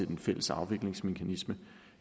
den fælles afviklingsmekanisme